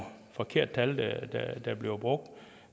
forkerte tal der bliver brugt